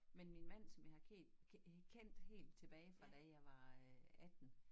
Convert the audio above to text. Men min man som jeg har kendt øh kendt helt tilbage fra da jeg var øh 18